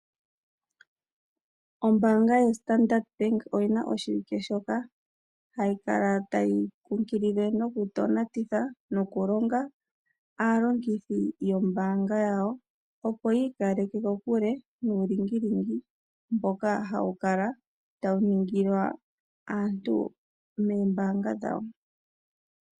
Ombaanga yo Standard bank oyina oshiike shoka hayi kala tayi kunkilile noku tonatitha noku longa aalongithi yombaanga yawo, opo yi ikaleke kokule nuulingilingi mboka hawu kala tawu ningilwa aantu meembaanga dhawo.